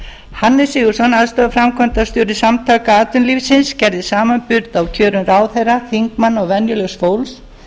ára hannes sigurðsson aðstoðarframkvæmdastjóri samtaka atvinnulífsins gerði samanburð á kjörum herra þingmanna og venjulegs fólks